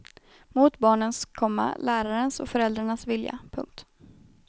Mot barnens, komma lärarens och föräldrarnas vilja. punkt